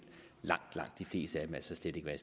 langt langt de fleste af dem altså slet ikke være